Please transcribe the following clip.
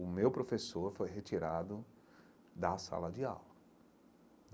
O meu professor foi retirado da sala de aula.